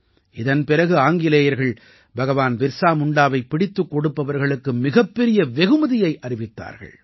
இதன் பிறகு ஆங்கிலேயர்கள் பகவான் பிர்ஸா முண்டாவைப் பிடித்துக் கொடுப்பவர்களுக்கு மிகப் பெரிய வெகுமதியை அறிவித்தார்கள்